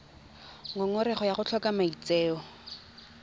ngongorego ya go tlhoka maitseo